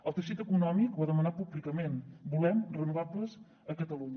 el teixit econòmic l’ha demanat públicament volem renovables a catalunya